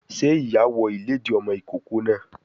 Sé ìyá wọ ìlédìí ọmọ ìkókó náà